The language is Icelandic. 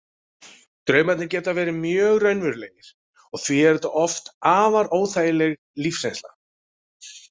Draumarnir geta verið mjög raunverulegir og því er þetta oft afar óþægileg lífsreynsla.